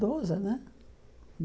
Doze, né?